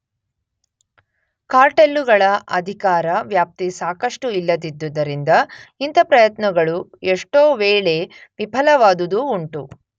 ಕಾರ್ಟೆಲ್ಲುಗಳ ಅಧಿಕಾರ ವ್ಯಾಪ್ತಿ ಸಾಕಷ್ಟು ಇಲ್ಲದಿದ್ದುದರಿಂದ ಇಂಥ ಪ್ರಯತ್ನಗಳು ಎಷ್ಟೊವೇಳೆ ವಿಫಲವಾದುದೂ ಉಂಟು.